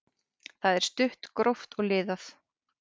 Það er stutt, gróft og liðað.